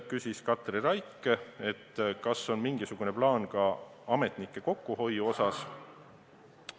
Katri Raik küsis, kas on mingisugune plaan ka ametnike kokkuhoiu osas.